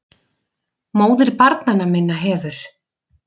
MÓÐIR BARNANNA MINNA HEFUR